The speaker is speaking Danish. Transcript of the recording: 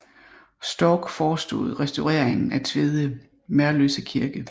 Storck forestod restaureringen af Tveje Merløse Kirke